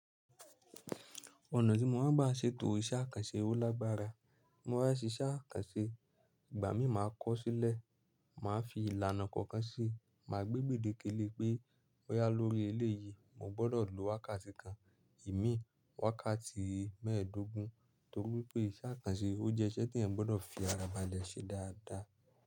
Ọ̀nà tí mo máa ń gbá ṣe ètò iṣẹ́ àkànṣe ọ́ lágbára, mo máa ń ṣe iṣẹ́ àkànṣe, ìgbà mí máa kọ́sílẹ̀, màá fi ìlànà kọ̀ọ̀kan ṣe, màá gbé gbèdé kélé pé boya lórí eléyìí, mo gbọ́dọ̀ lo wákàtí kan, imi wákàtí mẹ́ẹ̀ẹ́dógún, nítorí pé iṣẹ́ àkànṣe ó jẹ́ iṣẹ́ tí ẹ gbọ́dọ̀ fi ara ba ẹ ṣe dáadáa.